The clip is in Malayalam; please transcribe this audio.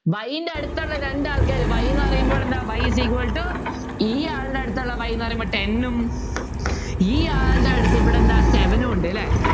Y ൻ്റെ അടുത്തുള്ള രണ്ട് ആൾക്കാര് Y എന്ന് പറയുമ്പോൾ എന്താ Y is equal to ഇയാളുടെ അടുത്തുള്ള Y എന്ന് പറയുമ്പോൾ ten ഉം ഇയാളുടെ അടുത്ത് ഇവിടെ എന്താ Seven ഉം ഉണ്ട് അല്ലേ